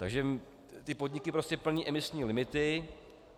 Takže ty podniky prostě plní imisní limity.